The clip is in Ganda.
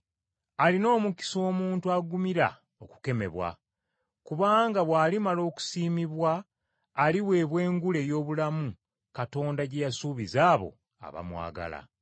Alina omukisa omuntu agumira okukemebwa, kubanga bw’alimala okusiimibwa aliweebwa engule ey’obulamu Katonda gye yasuubiza abo abamwagala.